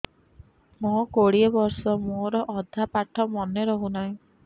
ମୋ କୋଡ଼ିଏ ବର୍ଷ ମୋର ଅଧା ପାଠ ମନେ ରହୁନାହିଁ